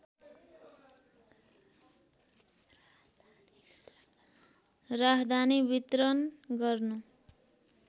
राहदानी वितरण गर्नु